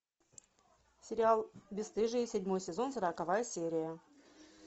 сериал бесстыжие седьмой сезон сороковая серия